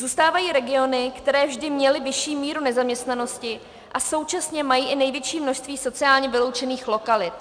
Zůstávají regiony, které vždy měly vyšší míru nezaměstnanosti a současně mají i největší množství sociálně vyloučených lokalit.